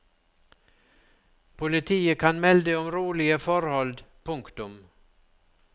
Politiet kan melde om rolige forhold. punktum